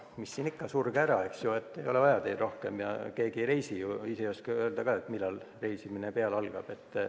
Mis siin ikka, surge ära, ei ole vaja teid rohkem, mitte keegi ei reisi ju, ja te ise ei oska ka öelda, millal reisimine jälle algab.